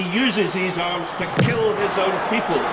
He uses these arms to kill his own people.